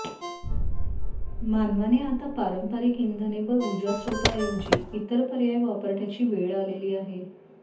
मानवाने आता पारंपरिक इंधने व ऊर्जास्रेतांऐवजी इतर पर्याय वापरण्याची वेळ आलेली आहे